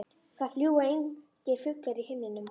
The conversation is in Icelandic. Það fljúga engir fuglar í himninum.